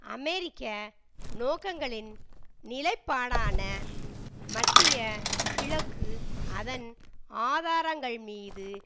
அமெரிக்க நோக்கங்களின் நிலைப்பாடான மத்திய கிழக்கு அதன் ஆதாரங்கள்மீது